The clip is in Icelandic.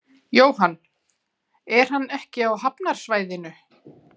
Jóhann: Er hann ekki á hafnarsvæðinu?